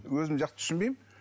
өзім жақсы түсінбеймін